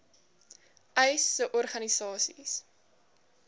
uys sê organisasies